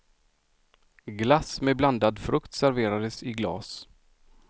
Glass med blandad frukt serverades i glas.